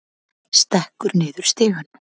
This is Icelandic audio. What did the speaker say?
Stekkur niður stigann.